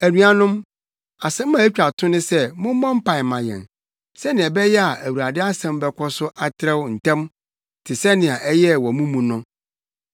Anuanom, asɛm a etwa to ne sɛ mommɔ mpae mma yɛn, sɛnea ɛbɛyɛ a Awurade asɛm bɛkɔ so atrɛw ntɛm te sɛnea ɛyɛɛ wɔ mo mu no.